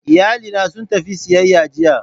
Iyalina sun tafi siyayya jiya